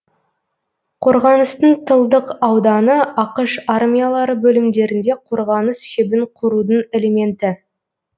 қорғаныстың тылдық ауданы ақш армиялары бөлімдерінде қорғаныс шебін құрудың элементі